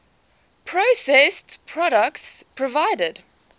processed products provided